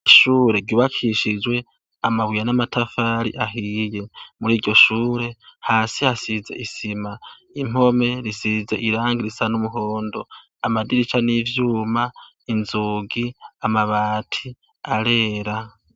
Ishure ryubakishijwe amabuye n'amatafari ahiye, muri iryo shure hasi hasize isima impome risize irangi risa n'umuhondo amadirisha n'ivyuma inzugi amabati arera.